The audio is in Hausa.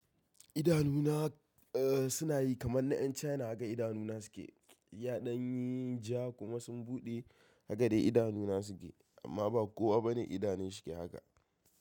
Idanuna suna yi kamar na 'yan China, haka idanuna suke. Yaɗan yi ja kuma sun buɗe, haka dai idanuna suke. Amma ba kowa bane idanu shi ke haka.